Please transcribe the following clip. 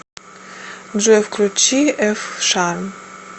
джой включи эф шарм